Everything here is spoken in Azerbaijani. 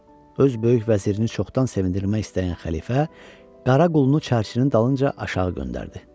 Öz böyük vəzirini çoxdan sevindirmək istəyən xəlifə qara qulunu çərçinin dalınca aşağı göndərdi.